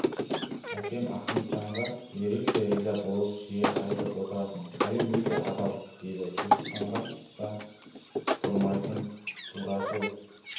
әкем ахметжанға ерекше риза болып жиі айтып отыратын халел өте адал еді туысқанға да бұрмайтын турашыл